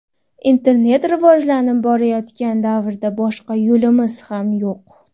Internet rivojlanib borayotgan davrda boshqa yo‘limiz ham yo‘q.